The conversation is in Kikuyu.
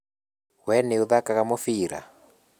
Wee nĩũthakaga mũbira?